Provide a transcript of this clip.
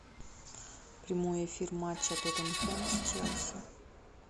прямой эфир матча тоттенхэм с челси